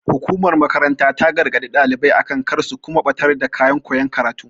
Hukumar makarantar ta gargaɗi ɗalibai akan kar su kuma ɓatar da kayan koya karatu.